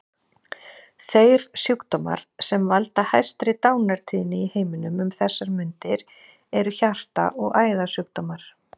Þeir sjúkdómar sem valda hæstri dánartíðni í heiminum um þessar mundir eru hjarta- og æðasjúkdómar.